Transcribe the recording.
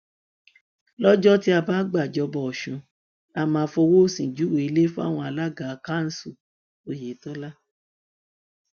lọjọ tí a bá gbàjọba ọsùn la máa fọwọ òsì júwe ilé fáwọn alága kansù ọyẹtọlá